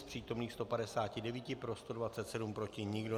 Z přítomných 159 pro 127, proti nikdo.